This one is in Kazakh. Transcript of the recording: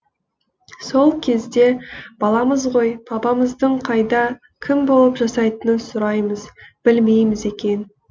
сол кезде баламыз ғой папамыздың қайда кім болып жасайтынын сұраймыз білмейміз екен